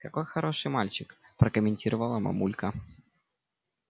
какой хороший мальчик прокомментировала мамулька